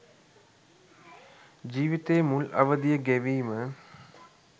ජීවිතයේ මුල් අවධිය ගෙවීම